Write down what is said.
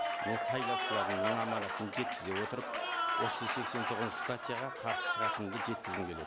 мен сайлаушыларымның аманатын жеткізе отырып осы сексен тоғызыншы статьяға қарсы шығатынымды жеткізгім келеді